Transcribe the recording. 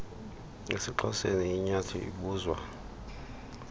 esixhoseni inyathi ibuzwa